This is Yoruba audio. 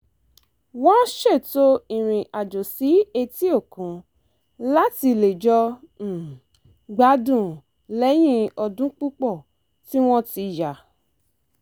wọ́n ṣètò ìrìn àjò sí etí-òkun láti lè jọ um gbádùn lẹ́yìn ọdún púpọ̀ tí wọ́n ti yà